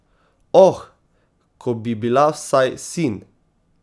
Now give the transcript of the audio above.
Oh, ko bi bila vsaj sin!